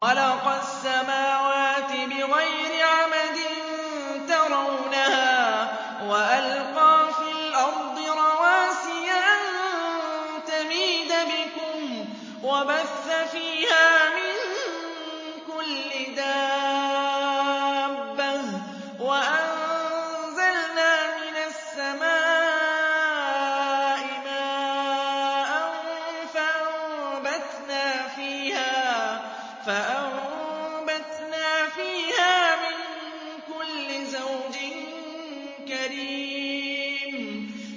خَلَقَ السَّمَاوَاتِ بِغَيْرِ عَمَدٍ تَرَوْنَهَا ۖ وَأَلْقَىٰ فِي الْأَرْضِ رَوَاسِيَ أَن تَمِيدَ بِكُمْ وَبَثَّ فِيهَا مِن كُلِّ دَابَّةٍ ۚ وَأَنزَلْنَا مِنَ السَّمَاءِ مَاءً فَأَنبَتْنَا فِيهَا مِن كُلِّ زَوْجٍ كَرِيمٍ